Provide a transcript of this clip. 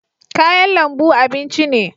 Kayan lambu abinci ne